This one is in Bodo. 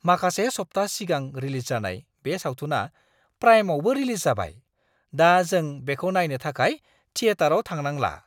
माखासे सप्ताह सिगां रिलिज जानाय बे सावथुना प्राइमआवबो रिलिज जाबाय। दा जों बेखौ नायनो थाखाय थिएटाराव थांनांला।